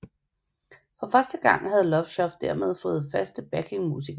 For første gang havde Love Shop dermed fået faste backingmusikere